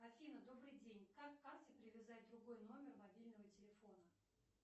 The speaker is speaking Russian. афина добрый день как к карте привязать другой номер мобильного телефона